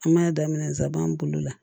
An b'a daminɛ nsaban bolo la